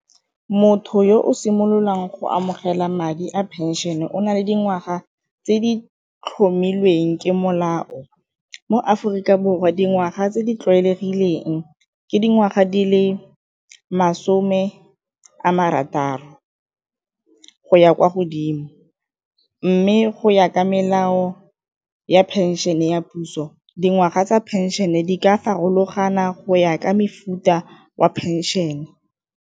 Motho yo o simololang go amogela madi a phenšene e o na le dingwaga tse di tlhomilweng ke molao mo Aforika Borwa dingwaga tse di tlwaelegileng ke dingwaga di le masome a marataro go ya kwa godimo, mme go ya ka melao ya phenšene ya puso dingwaga tsa phenšene di ka farologana go ya ka mefuta wa phenšene.